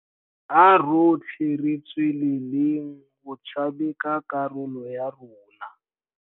A rotlhe re tsweleleng go tshameka karolo ya rona.